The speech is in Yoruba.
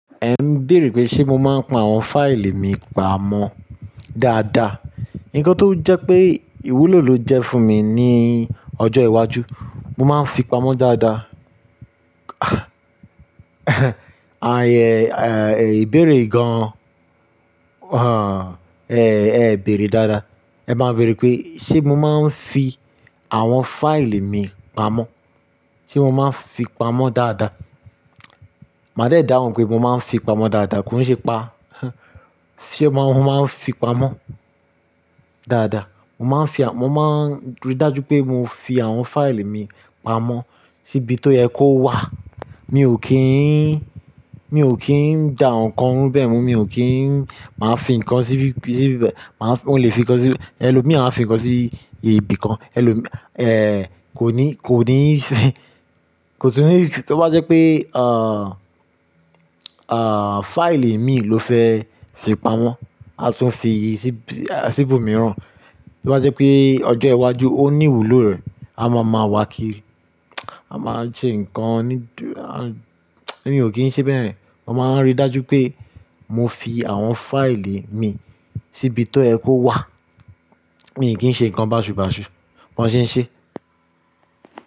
Ẹ ń bèèrè pé ṣe mo máa ń pa àwọn fáìlì mi pamọ́ dáadáa. Nǹkan tó jẹ́ pé ìwúlò ló jẹ́ fún mi ní ọjọ́ iwájú, mo máa ń fi pamọ́ dáadáa. Ààyè, à, ìbéèrè gaan, ah, ẹ, ẹ bẹ̀rẹ̀ dáadáa. Ẹ máa bèèrè pé ṣe mo máa ń fi àwọn fáìlì mi pamọ́, ṣe mo máa ń fi pamọ́ dáadáa. Màá dàá òun pé mo máa ń fi pamọ́ dáadáa, kí n ṣe pa-- ṣe mo máa ń fi pamọ́ dáadáa? Mo máa ń fi, mo máa ń rí dájú pé mo fi àwọn fáìlì mi pamọ́ síbi tó yẹ kó wà. Mi ò kí n, mi ò kí ń dá ǹkan mú bẹ́ẹ̀ mu, mi ò kí ń máa fi ǹkan síbi, síbi bẹ́ẹ̀, màá, wọ́n lè fi ǹkan sí ẹlòmíì, àfi ǹkan sí ibi kan ẹlòmíì, ẹ, kò ní, kò ní ṣe, kò sì ní tí wọ́n bá jẹ́ pé, à, à, fáìlì mi ló fẹ́ fi pamọ́, a sì fi sí ibi mìíràn, tí wọ́n bá jẹ́ pé ọjọ́ iwájú ó ní ìwúlò rẹ̀, a máa mọ̀ wá kí i, a máa ṣe ǹkan ní, a, èmi ò kí ń ṣe bẹ́yẹ̀n. Mo máa ń rí dájú pé mo fi àwọn fáìlì mi síbi tó yẹ kó wà. Èmi kì í ṣe ǹkan bàṣubàṣu, mo sì ń ṣe.